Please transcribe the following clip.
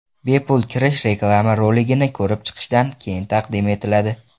Bepul kirish reklama roligini ko‘rib chiqishdan keyin taqdim etiladi.